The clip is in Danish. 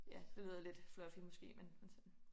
Ja det lyder lidt fluffy måske men men sådan